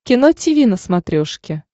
кино тиви на смотрешке